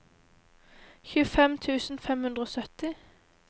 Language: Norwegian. tjuefem tusen fem hundre og sytti